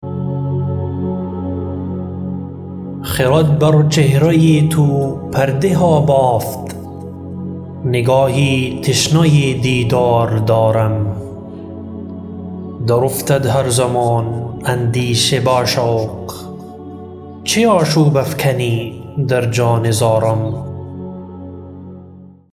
خرد بر چهره تو پرده ها بافت نگاهی تشنه دیدار دارم در افتد هر زمان اندیشه با شوق چه آشوب افکنی در جان زارم